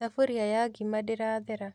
Thaburia ya ngima ndĩrathera